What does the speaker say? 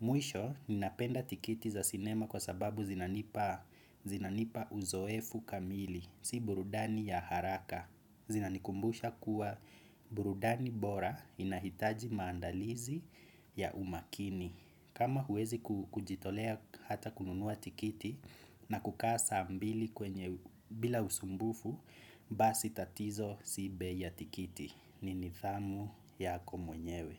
Mwisho, ninapenda tikiti za sinema kwa sababu zinanipa uzoefu kamili. Si burudani ya haraka. Zinanikumbusha kuwa burudani bora inahitaji maandalizi ya umakini. Kama huwezi kujitolea hata kununua tikiti na kukaa saa mbili bila usumbufu. Basi tatizo si bei ya tikiti. Ni nidhamu yako mwenyewe.